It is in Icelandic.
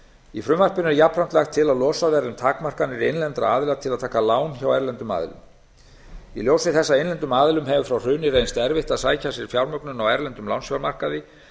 í frumvarpinu er jafnframt lagt til að losað verði um takmarkanir innlendra aðila til að taka lán hjá erlendum aðilum í ljósi þess að innlendum aðilum hefur frá hruni reynst erfitt að sækja sér fjármögnun á erlendum lánsfjármarkaði